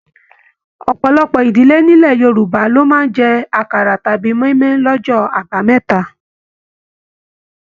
Ọpọlọpọ ìdílé nilẹ̀ Yorùbá lo máa n jẹ àkàrà tàbí moimoi l'ọjọ àbámẹ́ta.